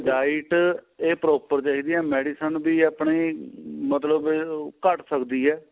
diet ਤੇ proper ਚਾਹੀਦੀ ਏ medicine ਵੀ ਆਪਣੀ ਮਤਲਬ ਘੱਟ ਸਕਦੀ ਏ